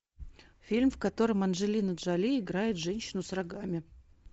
фильм в котором анджелина джоли играет женщину с рогами